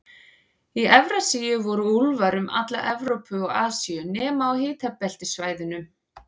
Í Evrasíu voru úlfar um alla Evrópu og Asíu, nema á hitabeltissvæðunum.